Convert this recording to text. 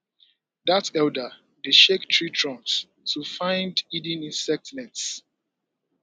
dat elder dey shake tree trunks to find hidden insect nests